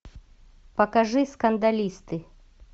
покажи скандалисты